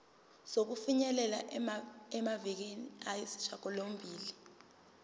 sokufinyelela kumaviki ayisishagalombili